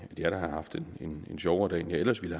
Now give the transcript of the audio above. da har haft en sjovere dag end jeg ellers ville